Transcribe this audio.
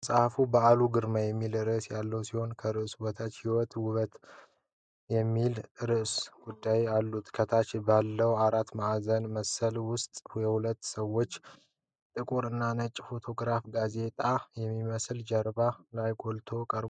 መጽሐፉ "በአካልና በአዕምሮ" የሚል ርዕስ ያለው ሲሆን፣ ከርዕሱ በታች "ሕይወትና ውበቱ" የሚል ንዑስ ርዕስ አለው። ከታች ባለው አራት ማዕዘን ምስል ውስጥ የሁለት ሰዎች ጥቁር እና ነጭ ፎቶግራፍ ጋዜጣ በሚመስል ጀርባ ላይ ጎልቶ ቀርቧል።